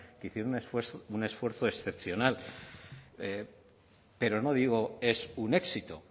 que hicieron un esfuerzo excepcional pero no digo es un éxito